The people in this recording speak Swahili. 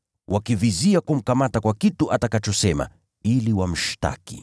wakivizia kumkamata kwa kitu atakachosema ili wamshtaki.